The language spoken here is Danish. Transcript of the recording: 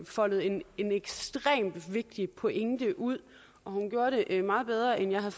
foldede en ekstremt vigtig pointe ud og hun gjorde det meget bedre end jeg